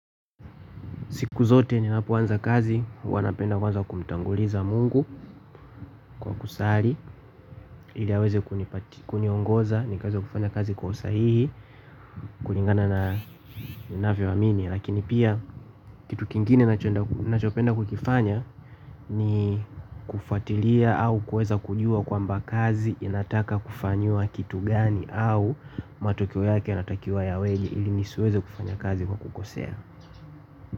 Siku zote ninapoanza kazi, huwa napenda kwanza kumtanguliza Mungu, kwa kusali, ili aweze kuniongoza, nikaweza kufanya kazi kwa usahihi, kulingana na ninavyoamini. Lakini pia, kitu kingine ninachopenda kukifanya, ni kufuatilia au kuweza kujua kwamba kazi, inataka kufanyiwa kitu gani au matokeo yake inatakiwa yaweje, ili nisiweze kufanya kazi kwa kukosea.